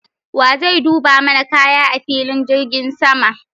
Wa zai duba mana kaya a filin jirgin sama?